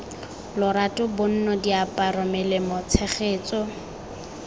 lorato bonno diaparo melemo tshegetso